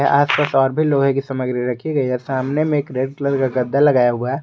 आसपास और भी लोहे की सामग्री रखी गई है सामने में एक रेड कलर का गद्दा लगाया हुआ है।